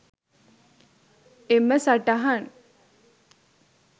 එම සටහන්